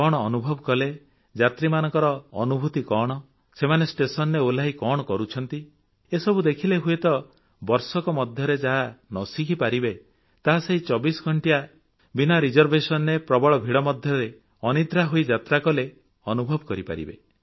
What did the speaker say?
କଣ ଅନୁଭବ କଲେ ଅନୁଭୂତି କଣ ସେମାନେ ଷ୍ଟେସନରେ ଓହ୍ଲାଇ କଣ କରୁଛନ୍ତି ଏସବୁ ଦେଖିଲେ ହୁଏତ ବର୍ଷକ ମଧ୍ୟରେ ଯାହା ନ ଶିଖିପାରିବେ ତାହା ସେହି 24 ଘଂଟିଆ ବିନା reservationରେ ପ୍ରବଳ ଭିଡ଼ ମଧ୍ୟରେ ଅନିଦ୍ରା ହୋଇ ଯାତ୍ରା କଲେ ଅନୁଭବ କରିପାରିବେ